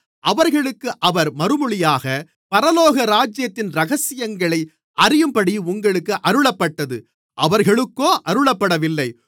அவர்களுக்கு அவர் மறுமொழியாக பரலோகராஜ்யத்தின் இரகசியங்களை அறியும்படி உங்களுக்கு அருளப்பட்டது அவர்களுக்கோ அருளப்படவில்லை